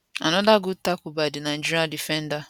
anoda good tackle by di nigeria defender